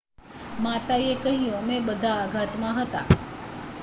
"માતાએ કહ્યું "અમે બધા આઘાતમાં હતા.""